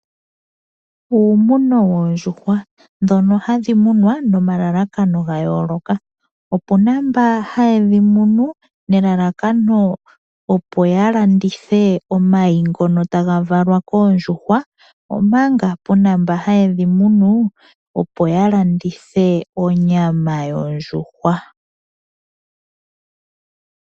Uumuno woondjuhwa dhono hadhi munwa nomalalakano gayooloka. Opuna mba hayedhi munu nelalakano opo yalandithe omayi ngono taga valwa koondjuhwa omanga puna mba hayedhi munu opo yalandithe onyama yondjuhwa.